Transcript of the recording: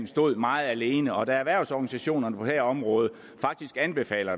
stod meget alene og da erhvervsorganisationerne på det her område faktisk anbefaler